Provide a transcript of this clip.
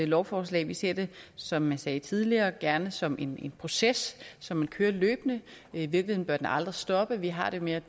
lovforslag vi ser det som jeg sagde tidligere gerne som en proces som man kører løbende i virkeligheden bør den aldrig stoppe vi har det med